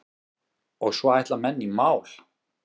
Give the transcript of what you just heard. Og svo ætla menn í mál.